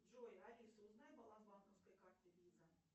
джой алиса узнай баланс банковской карты виза